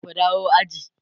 ku dawo aji!